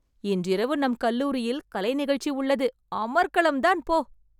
இன்று இரவு நம் கல்லூரியில் கலை நிகழ்ச்சி உள்ளது. அமர்க்களம்தான் போ !